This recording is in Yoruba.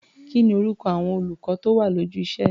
Kí ni orúkọ àwọn olùkọ́ tó wà lójú iṣé?